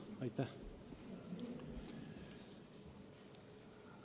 Aitäh!